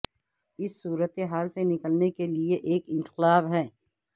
اس صورت حال سے نکلنے کے لیے ایک انقلاب ہے